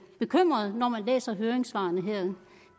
bekymret når man læser høringssvarene her